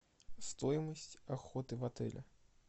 стоимость охоты в отеле